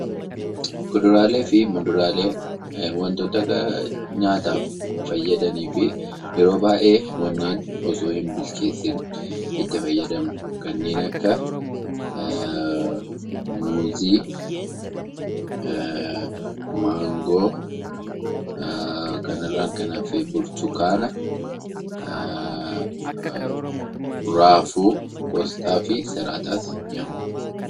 Kuduraalee fi muduraalee waantota nyaataaf fayyadanii fi yeroo baayyee osoo hin bilcheessiin itti fayyadamnu kanneen akka muuzii , maangoo kana irraan kan hafe burtukaana , raafuu, qosxaa fi salaaxaa ni hammata.